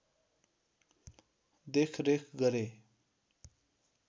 देखरेख गरे